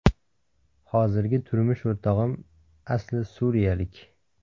Hozirgi turmush o‘rtog‘im asli suriyalik.